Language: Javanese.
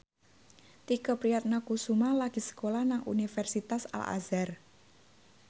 Tike Priatnakusuma lagi sekolah nang Universitas Al Azhar